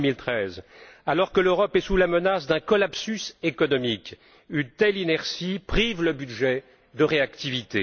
ou 2013! Alors que l'Europe est sous la menace d'un collapsus économique, une telle inertie prive le budget de réactivité.